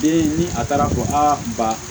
Den ni a taara ko a ba